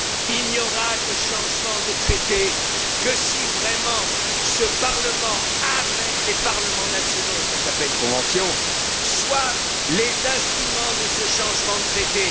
Il n'y aura de changement de traité que si vraiment ce Parlement avec les parlements nationaux ce qui s'appelle une convention sont les instruments de ce changement de traité.